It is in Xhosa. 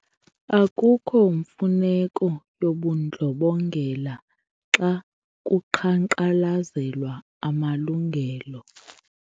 Akukho mfuneko yobundlobongela xa kuqhankqalazelwa amalungelo.